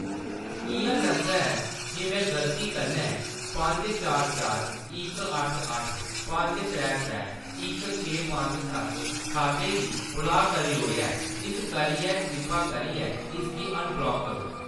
इ'यां लगदा ऐ जे मैं गलती कन्नै पंज चार चार इक अट्ठ अट्ठ पंज त्रै त्रै इक छे पंज सत्त खाते गी ब्लाक करी ओड़ेआ ऐ, इस करियै कृपा करियै इसगी अनब्लाक करो।